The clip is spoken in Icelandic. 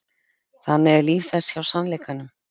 Þannig er líf þess hjá sannleikanum.